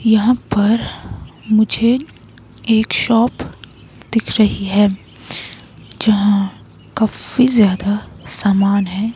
यहां पर मुझे एक शॉप दिख रही है जहां काफी ज्यादा सामान है।